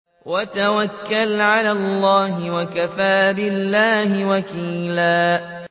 وَتَوَكَّلْ عَلَى اللَّهِ ۚ وَكَفَىٰ بِاللَّهِ وَكِيلًا